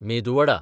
medu vada